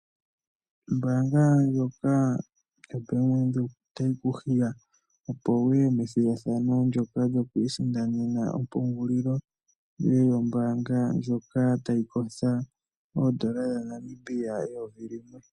Ombaanga yoBank Windhoek otayi kuhiya opo wuye methigathano lyoka lyokwiisindanena ompungulilo yombaanga ndjono tayi kosha oondola N$ 1000.